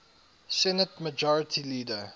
senate majority leader